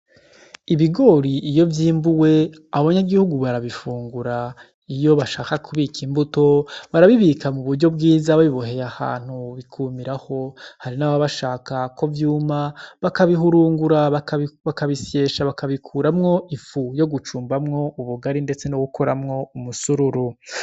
Ibigori iyo vyimbuwe abanyagihugu barabifungura. Iyo bashaka kubika imbuto, barabibika mu buryo bwiza babiboheye ahantu bikumiraho. Hari n’ababa bashaka ko vyuma bakabihurungura, bakabisyesha bakabikuramwo ifu yo gucumbamwo ubugari ndetse no gukoramwo umusitari.